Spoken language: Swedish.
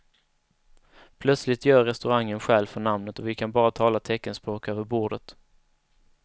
Plötsligt gör restaurangen skäl för namnet och vi kan bara tala teckenspråk över bordet.